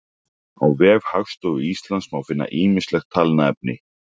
á vef hagstofu íslands má finna ýmislegt talnaefni